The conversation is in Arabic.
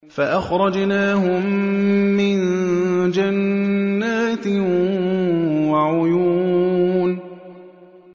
فَأَخْرَجْنَاهُم مِّن جَنَّاتٍ وَعُيُونٍ